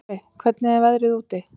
Óli, hvernig er veðrið úti?